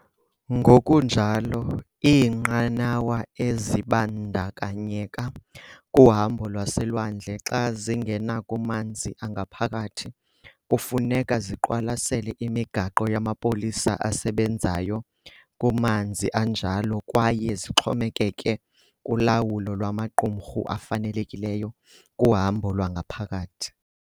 Ngokunjalo, iinqanawa ezibandakanyeka kuhambo lwaselwandle xa zingena kumanzi angaphakathi kufuneka ziqwalasele imigaqo yamapolisa esebenzayo kumanzi anjalo kwaye zixhomekeke kulawulo lwamaqumrhu afanelekileyo kuhambo lwangaphakathi.